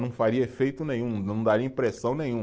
Não faria efeito nenhum, não daria impressão nenhum.